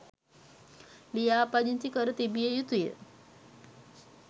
ලියාපදිංචි කර තිබිය යුතුය